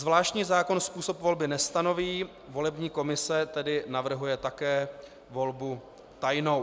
Zvláštní zákon způsob volby nestanoví, volební komise tedy navrhuje také volbu tajnou.